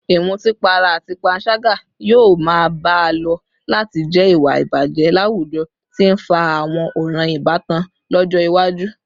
Ìmutípara àti panṣágà yóò máa bá a lọ láti jẹ́ ìwà ìbàjẹ́ láwùjọ tí ń fa àwọn ọ̀ràn ìbátan lọ́jọ́ iwájú